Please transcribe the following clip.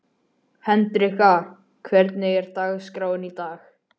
Hendrikka, hvernig er dagskráin í dag?